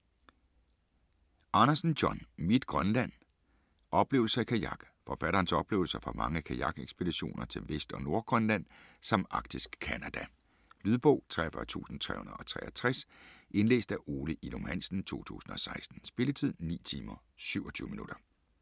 Andersen, John: Mit Grønland: oplevelser i kajak Forfatterens oplevelser fra mange kajakekspeditioner til Vest- og Nordgrønland samt Arktisk Canada. Lydbog 43363 Indlæst af Ole Ilum Hansen, 2016. Spilletid: 9 timer, 27 minutter.